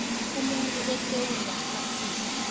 umuntu esewula afrika